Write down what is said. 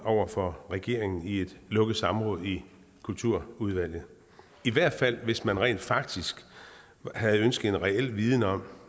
over for regeringen i et lukket samråd i kulturudvalget i hvert fald hvis man rent faktisk havde ønsket en reel viden om